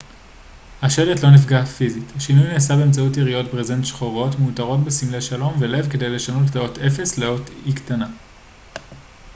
השלט לא נפגע פיזית השינוי נעשה באמצעות יריעות ברזנט שחורות מעוטרות בסמלי שלום ולב כדי לשנות את האות o לאות e קטנה